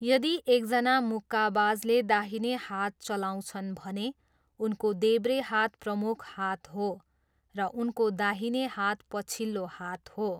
यदि एकजना मुक्काबाजले दाहिने हात चलाउँछन् भने, उनको देब्रे हात प्रमुख हात हो र उनको दाहिने हात पछिल्लो हात हो।